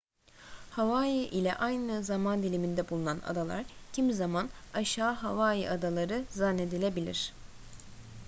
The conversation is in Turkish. hawaii ile aynı zaman diliminde bulunan adalar kimi zaman aşağı hawaii adaları zannedilebilir